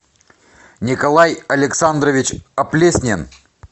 николай александрович оплеснин